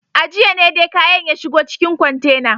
A jiya ne dai kayan ya shigo cikin kwantena.